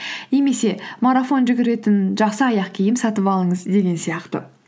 немесе марафон жүгіретін жақсы аяқ киім сатып алыңыз деген сияқты